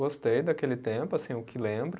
Gostei daquele tempo, assim, o que lembro.